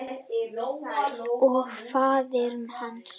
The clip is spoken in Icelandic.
Og faðir hans?